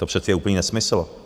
To je přece úplný nesmysl.